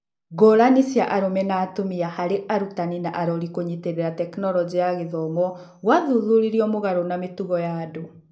Ngũrani cia arũme na atumia harĩ arutani na arori kũnyitĩrĩra Tekinoronjĩ ya Githomo gũathuthuriri mũgarũ na mĩtugo ya andũ.